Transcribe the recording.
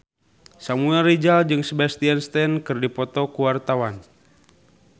Samuel Rizal jeung Sebastian Stan keur dipoto ku wartawan